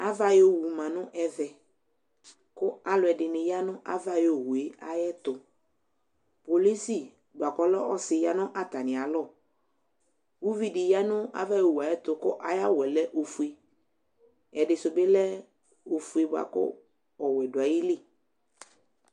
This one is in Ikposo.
Ava ayʋ owu ma nʋ ɛvɛ kʋ alʋɛdɩ ya nʋ ava ayʋ owu yɛ ayɛtʋ Polisi bʋa kʋ ɔlɛ ɔsɩ ya nʋ atamɩalɔ Uvi dɩ ya nʋ ava ayʋ owu yɛ ayɛtʋ kʋ ayʋ awʋ yɛ lɛ ofue, ɛdɩ sʋ bɩ lɛ ofue bʋa kʋ ɔwɛ dʋ ayili